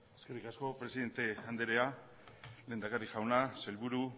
eskerrik asko presidente anderea lehendakari jauna sailburu